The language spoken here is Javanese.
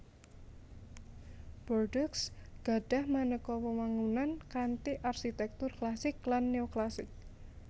Bordeaux gadhah manéka wewangunan kanthi arsitèktur klasik lan néoklasik